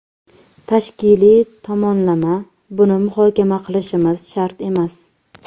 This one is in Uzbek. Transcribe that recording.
Tashkiliy tomonlama… Buni muhokama qilishimiz shart emas.